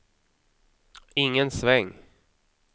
ingen sväng